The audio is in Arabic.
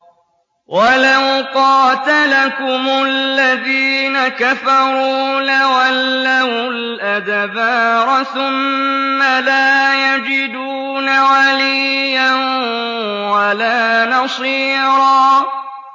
وَلَوْ قَاتَلَكُمُ الَّذِينَ كَفَرُوا لَوَلَّوُا الْأَدْبَارَ ثُمَّ لَا يَجِدُونَ وَلِيًّا وَلَا نَصِيرًا